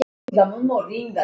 Stúlkan hafði lagt fram kæru.